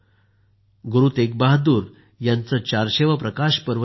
गुरु तेगबहादूर यांचे 400 वे प्रकाश पर्व देखील आहे